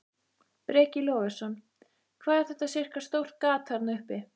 Breki Logason: Hvað er þetta sirka stórt gat þarna uppi?